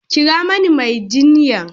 Kira mani mai jinya!